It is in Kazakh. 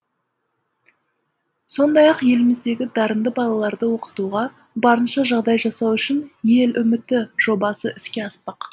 сондай ақ еліміздегі дарынды балаларды оқытуға барынша жағдай жасау үшін ел үміті жобасы іске аспақ